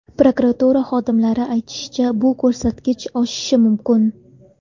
Prokuratura xodimlari aytishicha, bu ko‘rsatkich oshishi mumkin.